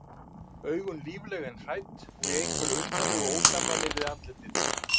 augun lífleg en hrædd og í einhverju undarlegu ósamræmi við andlitið.